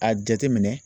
A jateminɛ